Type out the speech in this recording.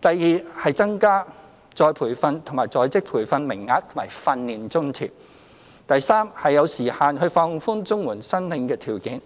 第二是增加再培訓及在職培訓名額及訓練津貼；第三是有時限地放寬綜援申領條件。